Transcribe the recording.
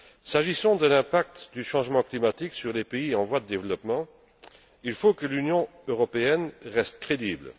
S'agissant de l'impact du changement climatique sur les pays en voie de développement, il faut que l'Union européenne reste crédible.